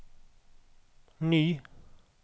ny